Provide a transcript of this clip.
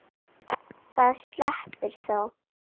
Það sleppur þó.